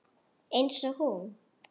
Einsog hún.